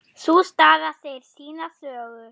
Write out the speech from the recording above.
Sú staða segir sína sögu.